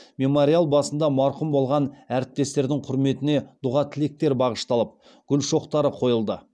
мемориал басында марқұм болған әріптестердің құрметіне дұға тілектер бағышталып гүл шоқтары қойылды